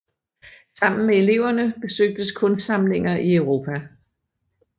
Sammen med eleverne besøgtes kunstsamlinger i Europa